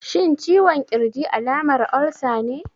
Shin ciwon ƙirji alamar olsa ne?